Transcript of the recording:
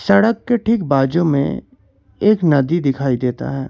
सड़क के ठीक बाज़ू में एक नदी दिखाई देता है।